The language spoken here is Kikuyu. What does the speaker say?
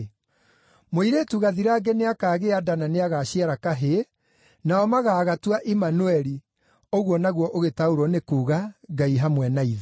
“Mũirĩtu gathirange nĩakagĩa nda na nĩagaciara kahĩĩ, nao magaagatua Imanueli” ũguo naguo ũgĩtaũrwo nĩ kuuga, “Ngai hamwe na ithuĩ.”